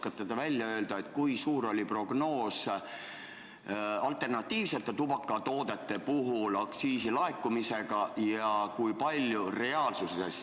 Kas te oskate öelda, kui suur oli alternatiivsete tubakatoodete aktsiisi laekumise prognoos ja kui suur on see reaalsuses?